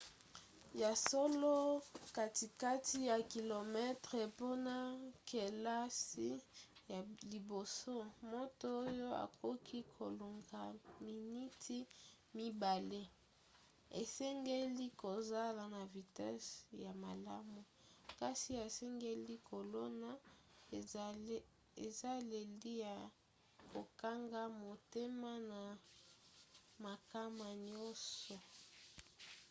ya solo katikati ya kilometele mpona kelasi ya liboso moto oyo akoki kolonga miniti mibale asengeli kozala na vitese ya malamu kasi asengeli kolona ezaleli ya kokanga motema na makama nyonso